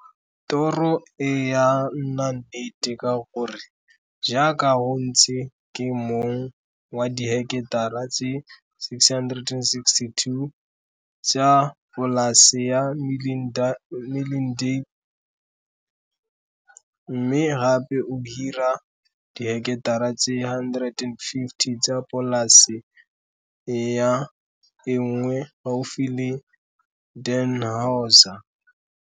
Toro e ya nna nnete ka gore jaaka go ntse ke mong wa diheketara tse 662 tsa polase ya Milindale mme gape o hira diheketara tse 150 tsa polase ya e nngwe gaufi le Dannhauser.